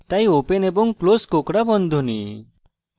তাই open এবং close কোঁকড়া বন্ধনী